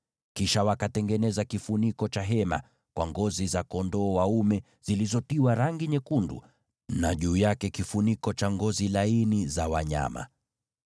Kisha wakatengeneza kifuniko cha hema kwa ngozi za kondoo dume zilizotiwa rangi nyekundu, na juu yake kifuniko cha ngozi za pomboo.